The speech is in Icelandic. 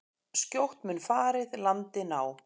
Skjótt mun farið landi ná.